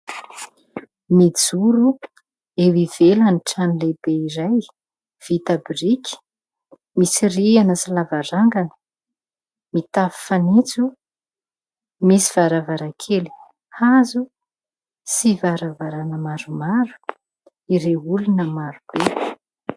Mijoro eo ivelan'ny trano lehibe iray vita boriky, misy rihana sy lavarangana, mitafo fanitso, misy varavarankely hazo sy varavarana maromaro ireo olona maro be.